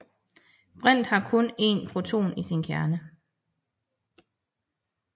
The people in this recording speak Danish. Brint har kun en proton i sin kerne